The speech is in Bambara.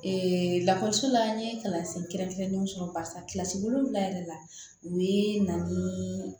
lakɔliso la n ye kalansen kɛrɛnkɛrɛnnenw sɔrɔ barisa wolonwula yɛrɛ la u bɛ na ni